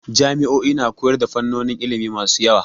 Jami'o'i na koyar da fannonin ilimi masu yawa.